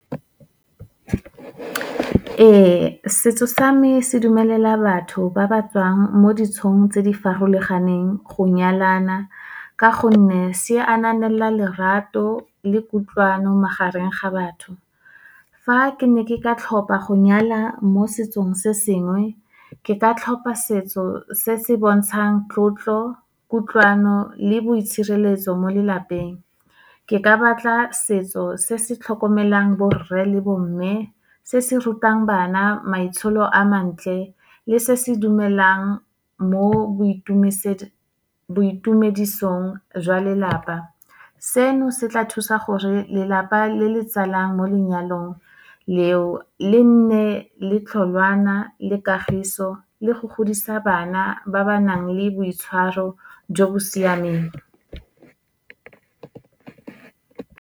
Ee, setso sa me se dumelela batho ba ba tswang mo ditsong tse di farologaneng go nyalana, ka gonne se ananela lerato le kutlwano magareng ga batho. Fa ke ne ke ka tlhopa go nyala mo setsong se sengwe, ke ka tlhopa setso se se bontshang tlotlo, kutlwano le boitshireletso mo lelapeng. Ke ka batla setso se se tlhokomelang borre le bomme, se se rutang bana maitsholo a mantle, le se se dumelang mo boitumedisong jwa lelapa. Seno, se tla thusa gore lelapa le le tsalang mo lenyalong leo, lenne le tlhongwana le kagiso le go godisa bana, ba ba nang le boitshwaro jo bo siameng.